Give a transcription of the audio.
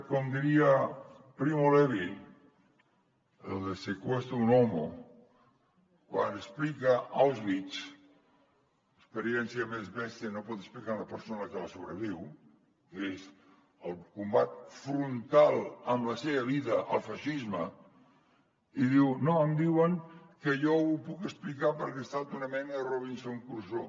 com diria primo levi el de se questo è un uomo quan explica auschwitz l’experiència més bèstia que pot explicar una persona que la sobreviu que és el combat frontal amb la seva vida al feixisme i diu no em diuen que jo ho puc explicar perquè he estat una mena de robinson crusoe